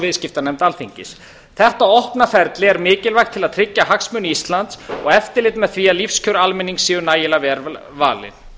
viðskiptanefnd alþingis þetta opna ferli er mikilvægt til að tryggja hagsmuni íslands og eftirlit með því að lífskjör almennings séu nægilega vel varin